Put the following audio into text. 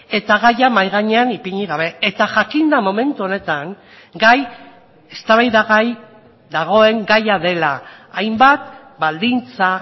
eta gaia mahai gainean ipini gabe eta jakinda momentu honetan gai eztabaidagai dagoen gaia dela hainbat baldintza